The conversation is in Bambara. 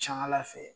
Ca ala fɛ